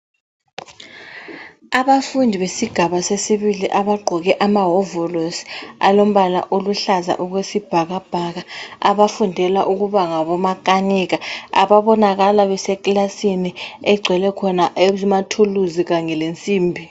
Abafundi besigaba sesibili abagqoke amawovolosi alombala oluhlaza okwesibhakabhaka, abafundela ukuba ngabomakanika, ababonakala besekilasini egcwele khona amathuluzi kanye lensimbi.